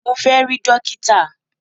Mo fẹ́ rí dókítà!